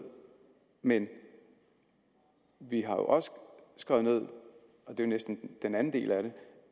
men vi har også skrevet ned og det er næsten den anden del af det